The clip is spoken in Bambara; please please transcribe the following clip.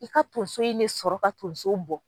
I ka tonso in ne sɔrɔ ka tonso bɔ.